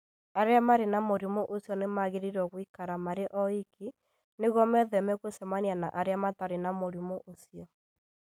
Arĩa marĩ na mũrimũ ũcio nĩ magĩrĩirũo gũikara marĩ oiki nĩguo metheme gũcemania na arĩa matarĩ na mũrimũ ũcio.